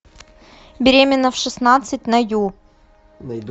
беременна в шестнадцать на ю